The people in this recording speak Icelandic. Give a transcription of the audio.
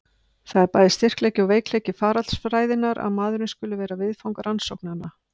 Það er bæði styrkleiki og veikleiki faraldsfræðinnar að maðurinn skuli vera viðfang rannsóknanna.